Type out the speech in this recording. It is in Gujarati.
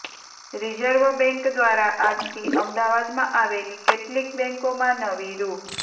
રિઝર્વ બેન્ક દ્વારા આજથી અમદાવાદમાં આવેલી કેટલીક બેન્કોમાં નવી રૂ